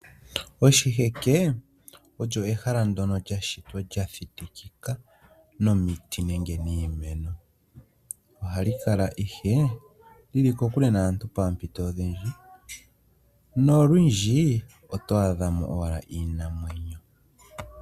Oshiheke olyo ehala ndyono lya shitwa lya thitikika nomiti nenge niimeno. Ohali kala ihe li li kokule naantu poompito odhindji nolwindji oto adha mo owala iinamwenyo.